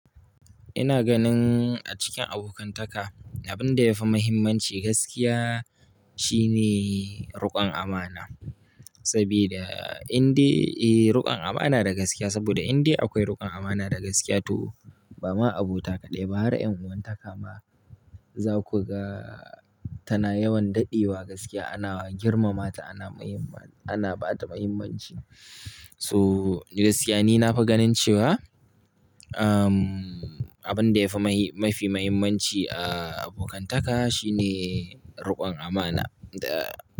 Ina ganin a cikin abokantaka, abin da yafi muhimmanci gaskiya shine riƙon amana. Sabida inde, eh riƙon amana da gaskiya, saboda inde akwai riƙon amana da gaskiya to ba ma abota kaɗai ba har ƴan uwantaka ma za ku ga tana yawan daɗewa gaskiya ana girmamata, ana ba ta muhimmanci. So, ni gaskiya nafi ganin cewa, umm, abin da yafi mafi muhimmanci a abokantaka shine riƙon amana da.